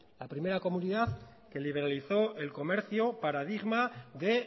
la primera comunidad que liberalizó el comercio paradigma de